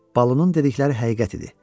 Balunun dedikləri həqiqət idi.